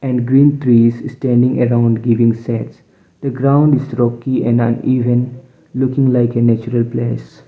and green trees istanding around giving sets the ground is rocky and uneven looking like a natural place.